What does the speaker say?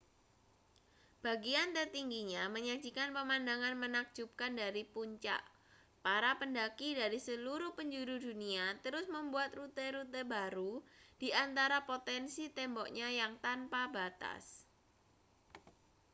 bagian tertingginya menyajikan pemandangan menakjubkan dari puncak para pendaki dari seluruh penjuru dunia terus membuat rute-rute baru di antara potensi temboknya yang tanpa batas